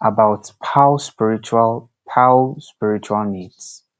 about paue spiritual paue spiritual needs